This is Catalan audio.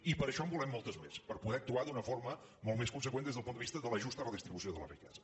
i per això en volem moltes més per poder actuar d’una forma molt més conseqüent des del punt de vista de la justa redistribució de la riquesa